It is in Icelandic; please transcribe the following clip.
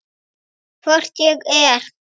Hvort ég er.